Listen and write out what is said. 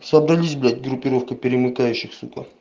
собрались блять группировка перемыкающих сука